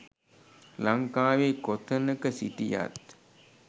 ලංකාවේ කොතනක සිටියත්